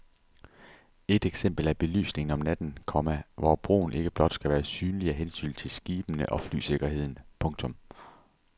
Et eksempel er belysningen om natten, komma hvor broen ikke blot skal være synlig af hensyn til skibene og flysikkerheden. punktum